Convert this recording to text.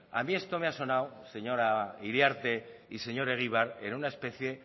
a mí esto me ha sonado señora iriarte y señor egibar en una especie